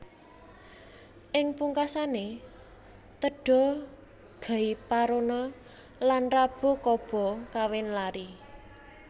Ing pungkasané Teda Gaiparona lan Rabu Kaba kawin lari